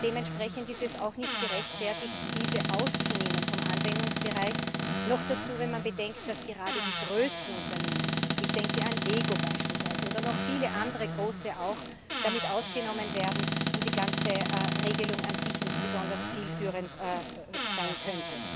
Dementsprechend ist es auch nicht gerechtfertigt, diese vom Anwendungsbereich auszunehmen, noch dazu, wenn man bedenkt, dass gerade die größten Unternehmen ich denke an Lego beispielsweise oder noch viele andere Große auch damit ausgenommen werden und somit die ganze Regelung an sich nicht besonders zielführend sein kann.